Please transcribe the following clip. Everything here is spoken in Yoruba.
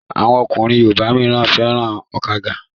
Awọn ọkùnrin yorùbá míràn féràn àgbàda.